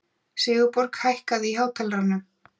Sigurborg, hækkaðu í hátalaranum.